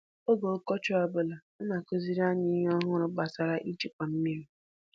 Oge ọkọchị ọ bụla na-akụziri anyị ihe ọhụrụ gbasara ijikwa mmiri.